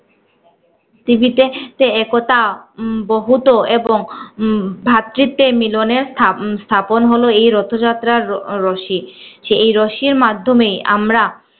পৃথিবীতে তে একতা উম বহুত্ব এবং উম ভাতৃত্বের মিলনের স্থাপ~ স্থাপন হলো এই রথযাত্রার রশি। এই রশির মাধ্যমেই আমরা